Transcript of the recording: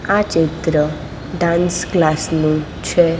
આ ચિત્ર dance class નું છે.